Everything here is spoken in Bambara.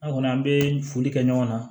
An kɔni an bɛ foli kɛ ɲɔgɔn na